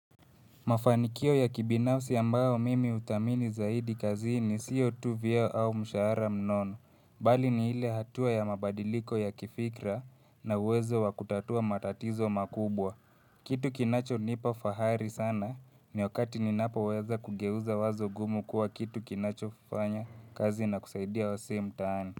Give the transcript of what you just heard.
Mafanikio ya kibinafsi ambayo mimi uthamini zaidi kazini siotu vio au mshaara mnono. Bali ni ile hatua ya mabadiliko ya kifikra na uwezo wakutatua matatizo makubwa. Kitu kinachonipa fahari sana ni wakati ni napo weza kugeuza wazo gumu kuwa kitu kinacho fanya kazi na kusaidia wasee mtaani.